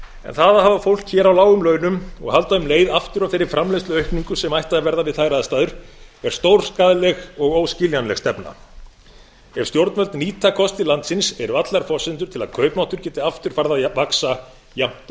en það að hafa fólk hér á lágum launum og halda um leið aftur af þeirri framleiðsluaukningu sem ætti að verða við þær aðstæður er stórskaðleg og óskiljanleg stefna ef stjórnvöld nýta kosti landsins eru allar forsendur til að kaupmáttur geti aftur farið að vaxa jafnt